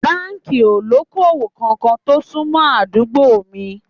Báńkì ó lóko-òwò kankan kò sún mọ́ àdúgbò mi